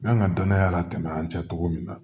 N ka danaya latɛmɛ an cɛ cogo min na